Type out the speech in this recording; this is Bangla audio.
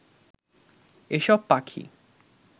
এসব পাখি